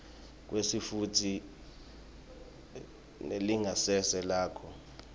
kwesitfunti nelingasese lakho